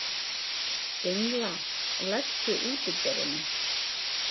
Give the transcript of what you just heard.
Engla, læstu útidyrunum.